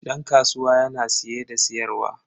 Dan kasuwa yana siye da siyarwa.